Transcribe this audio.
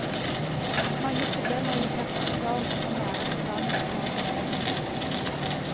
Mange problemorienterte oppgaver som kan være eksamensforberedende.